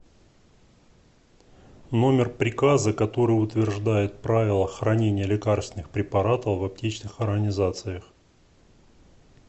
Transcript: номер приказа который утверждает правила хранения лекарственных препаратов в аптечных организациях